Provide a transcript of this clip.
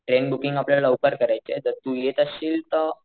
train booking आपल्याला लवकर करायचीये तर तू येत असशील तर